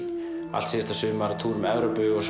allt síðasta sumar að túra um Evrópu og